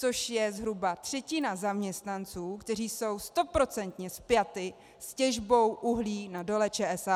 Což je zhruba třetina zaměstnanců, kteří jsou stoprocentně spjati s těžbou uhlí na Dole ČSA.